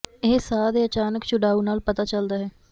ਇਹ ਸਾਹ ਦੇ ਅਚਾਨਕ ਛੁਡਾਊ ਨਾਲ ਪਤਾ ਚੱਲਦਾ ਹੈ